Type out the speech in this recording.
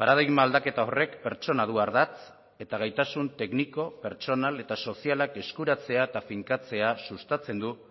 paradigma aldaketa horrek pertsona du ardatz eta gaitasun tekniko pertsonal eta sozialak eskuratzea eta finkatzea sustatzen du